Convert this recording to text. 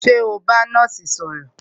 Ṣé o n bá nọ́ọ̀sì sọ̀rọ̀?